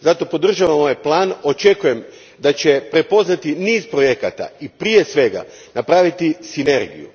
Zato podržavam ovaj plan, očekujem da će prepoznati niz projekata i prije svega napraviti sinergiju.